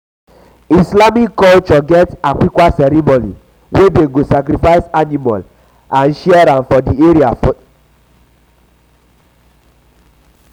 islamic culture get aqiqah ceremony wey dem go sacrifice animal and share am for di area for di area